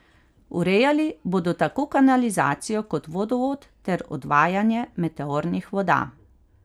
Urejali bodo tako kanalizacijo kot vodovod ter odvajanje meteornih voda.